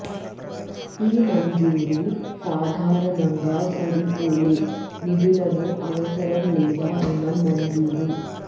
ఈ మంజూరు సాధారణంగా సరిపోలే నిధులను అవసరం లేదా రుణం మంజూరు